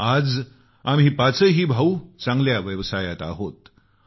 आज आम्ही पाचही भाऊ चांगल्या व्यवसायांत आहोत